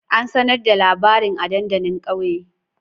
An sanar da labarin a dandalin kauye?